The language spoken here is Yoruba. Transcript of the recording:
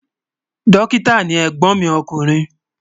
Dọ́kítà ni ẹ̀gbọ́n mi ọkùnrin.